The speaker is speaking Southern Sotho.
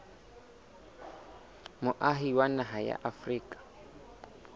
moahi wa naha ya afrika